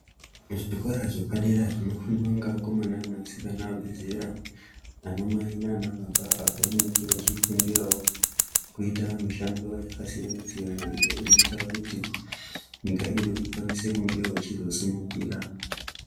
Zvikora zvepadera zvinofundwa nevakomana nevasikana vabvezera, anamai nanababa apo vanenge vachifundirawo kuita mishando yakasiyana-siyana iyo inoita kuti nyika yedu ikwanisewo kunge ichizosimukira.